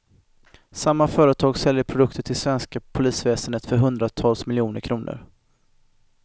Samma företag säljer produkter till det svenska polisväsendet för hundratals miljoner kronor.